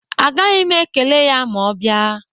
Agaghị m ekele ya ma ọ bịa.